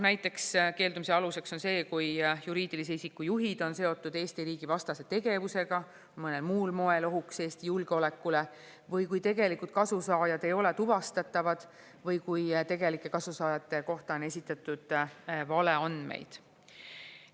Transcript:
Näiteks keeldumise aluseks on see, kui juriidilise isiku juhid on seotud Eesti riigi vastase tegevusega, mõnel muul moel ohuks Eesti julgeolekule või kui tegelikult kasusaajad ei ole tuvastatavad või kui tegelike kasusaajate kohta on esitatud valeandmeid.